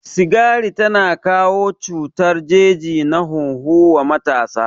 Sigari tana kawo cutar jeji na hunhu wa matasa